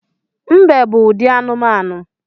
Mbe bụ ụdị anụmanụ